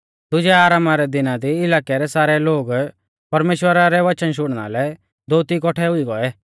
दुजै आरामा रै दिना दी इलाकै रै सारै लोग परमेश्‍वरा रै वचन शुणना लै दोअती कौट्ठै हुई गौऐ